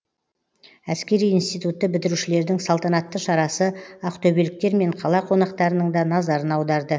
әскери институтты бітірушілердің салтанатты шарасы ақтөбеліктер мен қала қонақтарының да назарын аударды